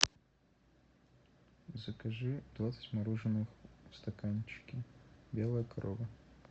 закажи двадцать мороженых в стаканчике белая корова